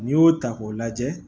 N'i y'o ta k'o lajɛ